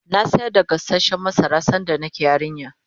na sayar da gasashen masara sanda nake yarinya